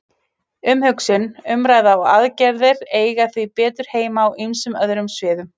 Umhugsun, umræða og aðgerðir eiga því betur heima á ýmsum öðrum sviðum.